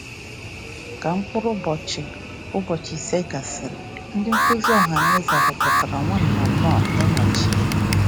Ka mkpụrụ ụbọchị ụbọchị ise gasịrị, ndị nduzi ohanaeze họpụtara Nwanna Knorr ịnọchi ya.